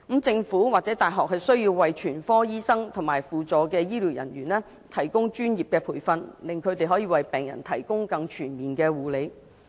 政府或大學需要為全科醫生及輔助醫療人員提供專業培訓，令他們可為病人提供更全面的護理。